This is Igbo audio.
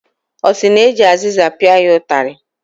Ọ sị na eji azịza pịa ya ụtarị.